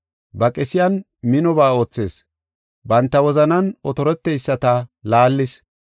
Ba qesiyan minoba oothis, banta wozanan otorteyisata laallis.